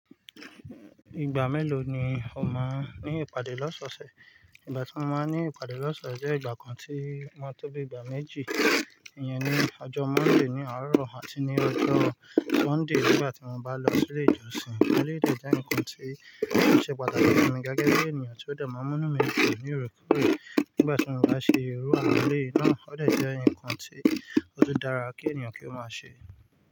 Ìgbà mélòó ni o máa ní ìpàdé lọ́sọ̀ọ̀sẹ̀? Ìgbà tí mo máa ní ìpàdé lọ́sọ̀ọ̀sẹ̀ jẹ́ ìgbà kan tí o maa n tó bí ìgbà méjì. Ìyẹn ni ọjọ́ Monday ní àárọ̀ àti ní ọjọ́ Sunday nígbà tí mo bá lọ sílé ìjọsìn. Nílé ìjọsìn jẹ́ ǹkan tí ó ṣe pàtàkì fún mi gágá gẹ́gẹ́ bí ènìyàn tí ó de máa múnú mi dun ní oorekore. Nígbà tí mo bá ṣe irú àwọn eléyii náà, ó de jẹ́ ǹkan tí ó tùn dára kí ènìyàn kí ó máa ṣe.